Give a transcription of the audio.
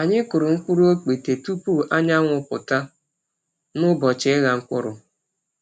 Anyị kụrụ mkpụrụ ọkpete tupu anyanwụ pụta n’ụbọchị ịgha mkpụrụ.